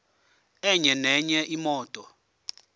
enye nenye imoto